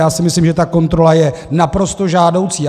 Já si myslím, že ta kontrola je naprosto žádoucí.